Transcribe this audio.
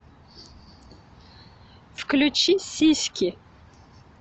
включи сиськи